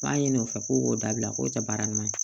B'a ɲini o fɛ ko k'o dabila k'o tɛ baara ɲuman ye